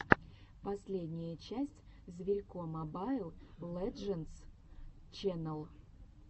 последняя часть зверько мобайл лэджендс ченнал